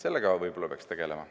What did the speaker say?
Sellega peaks võib-olla tegelema.